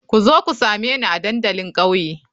Ku zo ku same ni a dandalin kauye.